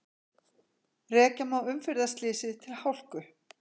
Rekja má umferðarslysið til hálku